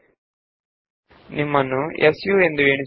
ಈಗ ಸು ರೂಪದಲ್ಲಿ ತಮ್ಮ ಹೆಸರನ್ನು ಪ್ರಯತ್ನಿಸಿ